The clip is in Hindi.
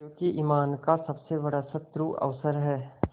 क्योंकि ईमान का सबसे बड़ा शत्रु अवसर है